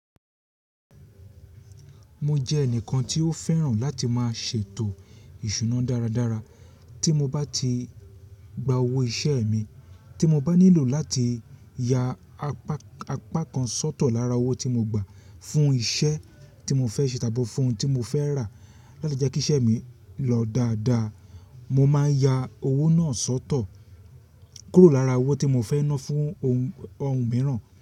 Mo jẹ ẹnìkan tí ó fẹ́ràn láti máa ṣètò ìṣúná dáradára. Tí mo bá ti gba owó iṣẹ́ mi, tí mo bá nílò láti ya apá apá kan sọ́tọ̀ lára owó tí mo gbà fún iṣẹ́ tí mo fẹ́ ṣe tàbí fún oun tí mo fẹ́ rà láti jẹ́ kí iṣẹ́ mi lọ dáadáa, mo máa ń ya owó náà sọ́tọ̀ kúrò lára owó tí mo fẹ́ ná fún ohun mìíràn.